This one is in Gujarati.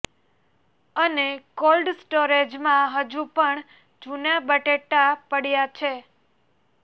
અને કોલ્ડ સ્ટોરેજમાં હજુ પણ જુના બટેટા પડયા છે